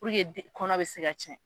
kɔnɔ bɛ se ka tiɲɛ